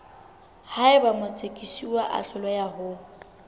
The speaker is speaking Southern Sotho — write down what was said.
haeba motsekiswa a hloleha ho